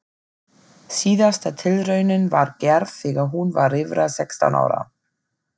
Síðasta tilraunin var gerð þegar hún var rífra sextán ára.